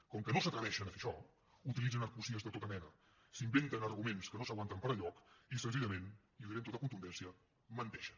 com que no s’atreveixen a fer això utilitzen argúcies de tota mena s’inventen arguments que no s’aguanten per enlloc i senzillament i ho diré amb tota contundència menteixen